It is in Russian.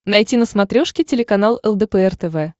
найти на смотрешке телеканал лдпр тв